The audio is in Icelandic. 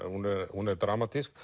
hún hún er dramatísk